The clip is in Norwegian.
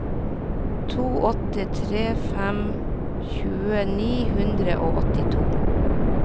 to åtte tre fem tjue ni hundre og åttito